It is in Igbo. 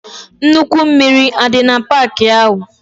Nnukwu mmiri adi na park ahu?